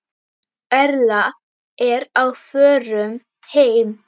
Erla er á förum heim.